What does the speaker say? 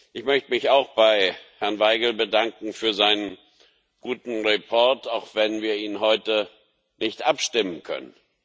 Ich möchte mich auch bei Herrn Vajgl bedanken für seinen guten Bericht, auch wenn wir ihn heute nicht abstimmen können.